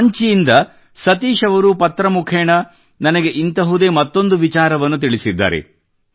ರಾಂಚಿಯಿಂದ ಸತೀಶ್ ಅವರು ಪತ್ರಮುಖೇನ ನನಗೆ ಇಂತಹುದೇ ಮತ್ತೊಂದು ವಿಚಾರವನ್ನು ತಿಳಿಸಿದ್ದಾರೆ